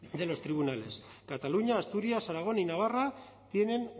de los tribunales cataluña asturias aragón y navarra tienen